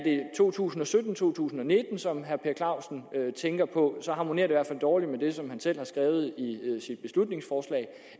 to tusind og sytten to tusind og nitten som herre per clausen tænker på så harmonerer det i hvert fald dårligt med det som han selv har skrevet i sit beslutningsforslag